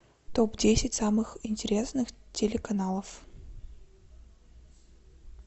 топ десять самых интересных телеканалов